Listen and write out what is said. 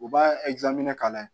U b'a minɛ k'a lajɛ